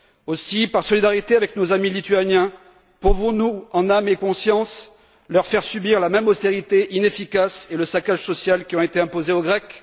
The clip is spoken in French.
Aussi, par solidarité avec nos amis lituaniens, pouvons nous en âme et conscience leur faire subir la même austérité inefficace et le saccage social qui ont été imposés aux Grecs?